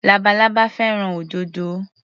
Labalábá fẹ́ràn òdòdó.